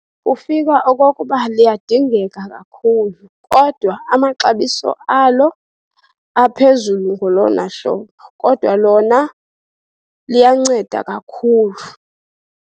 Kufika okokuba liyadingeka kakhulu kodwa amaxabiso alo aphezulu ngolona hlobo. Kodwa lona liyanceda kakhulu.